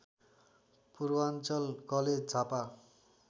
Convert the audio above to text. Purvanchal college Jhapa